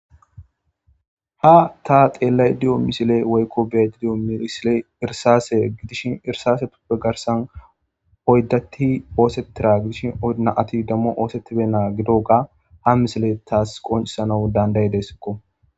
Ha ta xeellay diyo misile woykko betidiyo miisile irsase gidishin irsaase tuppe garsan oyddatti oosetira gidishi oynaati dammo oosettibe naa gidoga ha misile taas qoncisanau danday desekko.